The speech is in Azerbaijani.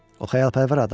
O xəyalpərvər adamdır.